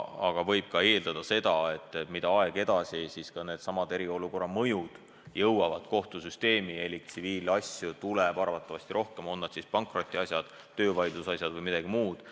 Aga võib eeldada, et mida aeg edasi, seda enam jõuavad eriolukorra mõjud kohtusüsteemi elik tsiviilasju tuleb arvatavasti rohkem – on need siis pankrotiasjad, töövaidluse asjad või midagi muud.